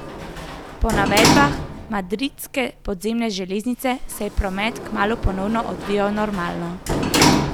Po navedbah madridske podzemne železnice se je promet kmalu ponovno odvijal normalno.